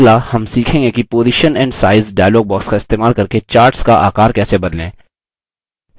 अगला हम सीखेंगे कि position and size dialog box का इस्तेमाल करके charts का आकर कैसे बदलें